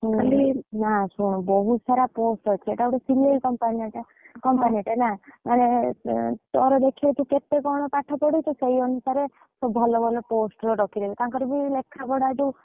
ହୁଁ, ନା ଶୁଣୁ ବହୁତ ସାରା post ଅଛି ଏଇଟା ଗୋଟେ ସିଲେଇ company ଟା company ନା ମାନେ ତୋର ଦେଖିବି ତୁ କେତେ କଣ ପାଠ ପଡିଛୁ ସେଇ ଅନୁସାରେ, ଭଲ ଭଲ post ରେ ରଖିଦେବେ ତାଙ୍କର ବି ଲେଖା ପଢା।